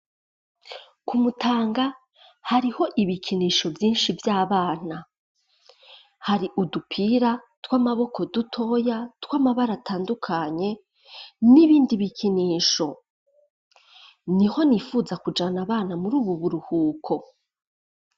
Ku Mutanga hariho ibikinisho vyinshi vy'abana hari udupira tw'amaboko dutoya tw'amabara atandukanye n'ibindi bikinisho. Niho nifuza kujana abana muri ubu buruhuko.